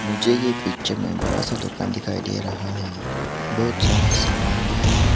मुझे ये पिक्चर में बड़ा सा दुकान दिखाई दे रहा है बहुत सारा सामान भी है।